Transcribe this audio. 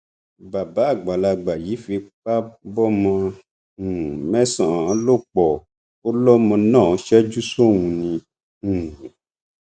bàbá àgbàlagbà yìí fipá bómọọn um mẹsàn-án ló pọ ó lọmọ náà ṣẹjú sóun ni um